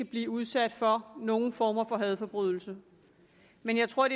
bliver udsat for nogen former for hadforbrydelse men jeg tror